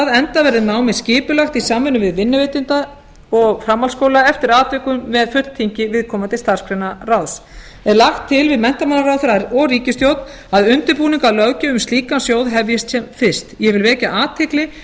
enda verði námið skipulagt í samvinnu vinnuveitenda og framhaldsskóla eftir atvikum með fulltingi viðkomandi starfsgreinaráðs er lagt til við menntamálaráðherra og ríkisstjórn að undirbúningur að löggjöf um slíkan sjóð hefjist sem fyrst ég vil vekja